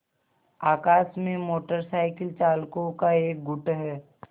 आकाश में motorcycle चालकों का एक गुट है